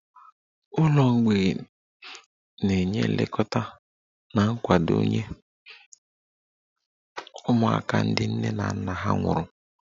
Ụlọ mgbei na-enye nlekọta na nkwado nye ụmụaka ndị nne na nna ha nwụrụ